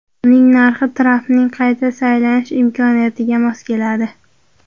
Uning narxi Trampning qayta saylanish imkoniyatiga mos keladi.